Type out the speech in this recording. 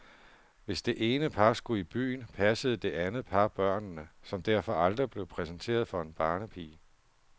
Hvis det ene par skulle i byen, passede det andet par børnene, som derfor aldrig blev præsenteret for en barnepige.